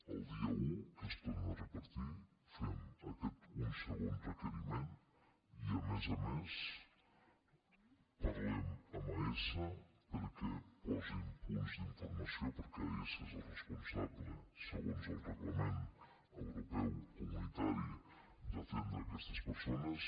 el dia un que es torna a repetir fem un segon requeriment i a més a més parlem amb aesa perquè posin punts d’informació perquè aesa és el responsable segons el reglament europeu comunitari d’atendre aquestes persones